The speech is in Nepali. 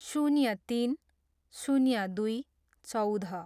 शून्य तिन, शून्य दुई, चौध